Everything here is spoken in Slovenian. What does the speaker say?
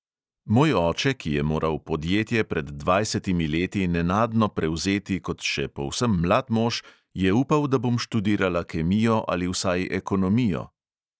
Moj oče, ki je moral podjetje pred dvajsetimi leti nenadno prevzeti kot še povsem mlad mož, je upal, da bom študirala kemijo ali vsaj ekonomijo.